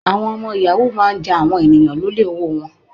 Àwọn ọmọ yàhú máa ń ja àwọn ènìyàn lólè owóo wọn.